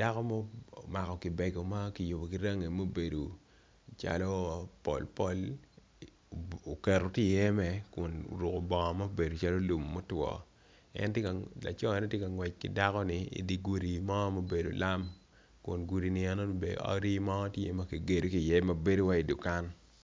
dako ma omako kibeko makiyubo kirangi ma obedo calo pol pol oketo kieme kun oruko kor bongo ma obedo calo lum motwo laco ne tye ngwec kidako ni idi gudi mo ma obedo lam kun gudi ni enoni bene odi mo tye makigedo kiye mabedo wai dukan.